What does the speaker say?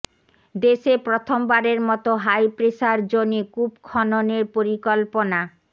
দেশে প্রথমবারের মতো হাই প্রেসার জোনে কূপ খননের পরিকল্পনা